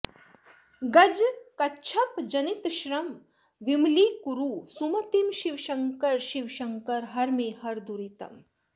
गजकच्छप जनितश्रम विमलीकुरु सुमतिं शिवशङ्कर शिवशङ्कर हर मे हर दुरितम्